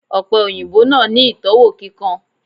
Òpe òyìnbó náà ni itọwo kíkan